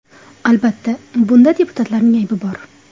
Albatta, bunda deputatlarning aybi bor.